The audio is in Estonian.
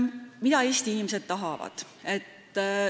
Mida Eesti inimesed tahavad?